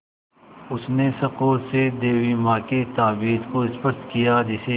उसने सँकोच से देवी माँ के ताबीज़ को स्पर्श किया जिसे